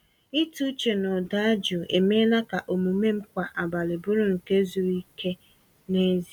Ịtụ uche na ụda jụụ emeela ka omume m kwa abalị bụrụ nke zuru ike n’ezie.